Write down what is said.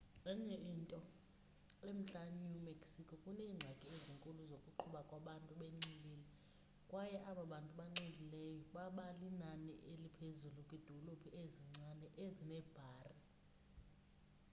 enye into emntla new mexico kuneengxaki ezinkulu zokuqhuba kwabantu benxilile kwaye aba bantu banxilileyo baba linani eliphezulu kwiidolophu ezincinane ezineebhari